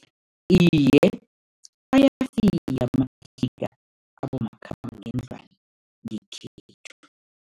Iye, ayafika amatliniga abomakhambangendlwana ngekhethu.